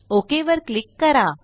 okay वर click करा